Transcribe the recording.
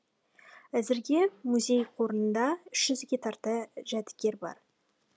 әзірге музей қорында үш жүзге тарта жәдігер бар